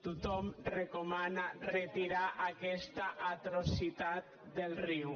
tothom recomana retirar aquesta atrocitat del riu